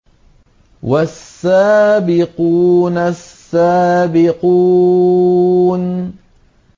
وَالسَّابِقُونَ السَّابِقُونَ